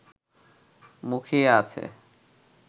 মুখিয়ে আছে